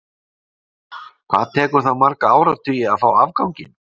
Ég spyr, hvað tekur það marga áratugi að fá afganginn?